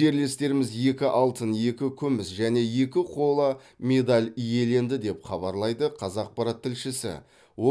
жерлестеріміз екі алтын екі күміс және екі қола медаль иеленді деп хабарлайды қазақпарат тілшісі